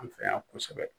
An fɛ yan kosɛbɛ